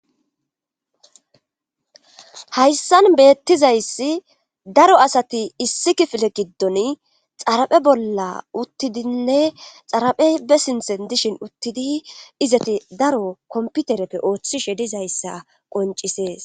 Hayssan beettizayssi daro asati issi kifile giddon xaraphe bolla uttidinne xaraphey be sinthen dishin uttidi izati daro komputereppe ooththishe dizayssa qoncisees.